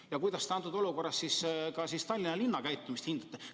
Ja kuidas te praeguses olukorras Tallinna linna käitumist hindate?